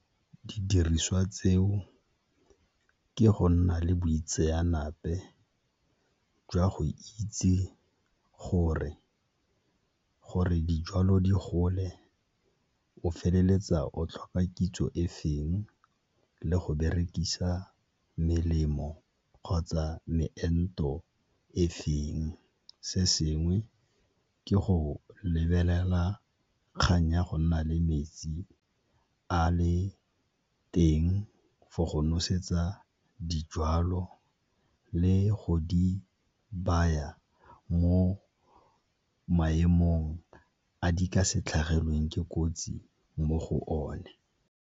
Didiriswa tseo ke go nna le boitseanape jwa go itse gore, gore dijalo di gole o feleletsa o tlhoka kitso e feng le go berekisa melemo kgotsa meento e feng. Se sengwe ke go lebelela kgang ya go nna le metsi a le teng for go nosetsa dijalo le go di baya mo maemong a di ka se tlhagelweng ke kotsi mo go one.